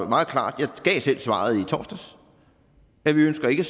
meget klart jeg gav selv svaret i torsdags at vi ønsker ikke